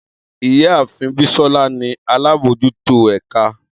Iyaafin Bisola ni alabojuto ẹka.